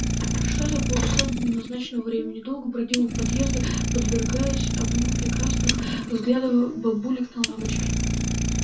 пришла за полчаса до назначенного времени долго бродила у подъезда подвергаясь огню перекрастных взглядов бабулек на лавочке